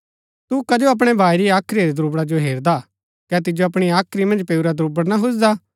तु कजो अपणै भाई री हाख्री रै द्रुबड़ा जो हेरदा कै तिजो अपणी हाख्री मन्ज पैऊरा दुब्रड़ न हुजदा